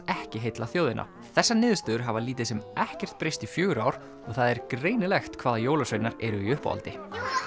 ekki heilla þjóðina þessar niðurstöður hafa lítið sem ekkert breyst í fjögur ár og það er greinilegt hvaða jólasveinar eru í uppáhaldi